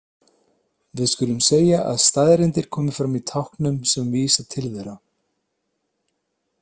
Við skulum segja að staðreyndir komi fram í táknum sem vísa til þeirra.